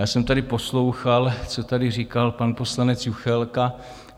Já jsem tady poslouchal, co tady říkal pan poslanec Juchelka.